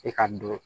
E ka dɔn